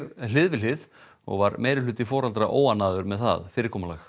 hlið við hlið og var meirihluti foreldra óánægður með það fyrirkomulag